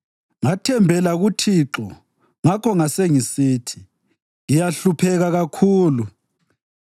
Ngathembela kuThixo; ngakho ngasengisithi, “Ngiyahlupheka kakhulu.”